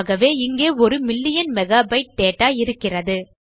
ஆகவே இங்கே ஒரு மில்லியன் மெகாபைட்டு டேட்டா இருக்கிறது